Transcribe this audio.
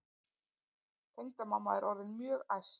Tengdamamma er orðin mjög æst.